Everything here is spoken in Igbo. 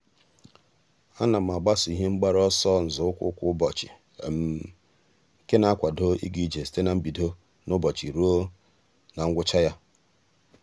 a na m agbaso ihe mgbaru ọsọ nzọụkwụ kwa ụbọchị nke na-akwado ịga ije site na mbido n'ụbọchị ruo na ngwụcha ya.